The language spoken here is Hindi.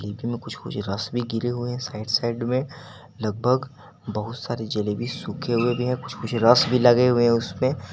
में कुछ कुछ रस भी गिरे हुए हैं साइड साइड में लगभग बहुत सारी जलेबी सूखे हुए भी हैं कुछ कुछ रस भी लगे हुए हैं उसमें।